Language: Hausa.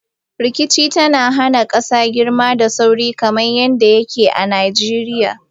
Rikicin tana hana kasa girma da sauri, kamar yadda yake a Najeriya.